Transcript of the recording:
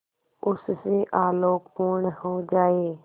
उससे आलोकपूर्ण हो जाए